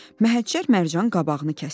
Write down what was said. Məhəccər Mərcanın qabağını kəsdi.